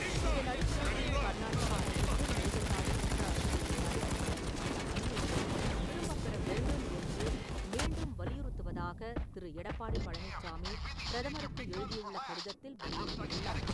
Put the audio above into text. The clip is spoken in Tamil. இதன் அடிப்படையில், கர்நாட்டக அரசுக்கு மேகதாது திட்ட அறிக்கைத் தயாரிக்க வழங்கப்பட்ட அனுமதியை திரும்பப்பெற வேண்டும் என்று மீண்டும் வலியுறுத்துவதாக திரு. எடப்பாடி பழனிச்சாமி, பிரதமருக்கு எழுதியுள்ள கடிதத்தில் வலியுறுத்தியுள்ளார்.